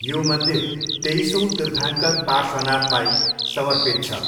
यो मन्दिर तेइसौँ तीर्थाङ्कर पार्श्वनाथलाई समर्पित छ।